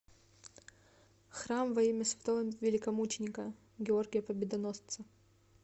храм во имя святого великомученика георгия победоносца